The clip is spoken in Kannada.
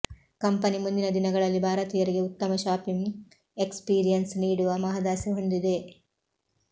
ಕಂಪನಿ ಮುಂದಿನ ದಿನಗಳಲ್ಲಿ ಭಾರತೀಯರಿಗೆ ಉತ್ತಮ ಶಾಪಿಂಗ್ ಎಕ್ಸ್ಪೀರಿಯನ್ಸ್ ನೀಡುವ ಮಹದಾಸೆ ಹೊಂದಿದೆ